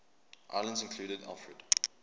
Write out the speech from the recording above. islands included alfred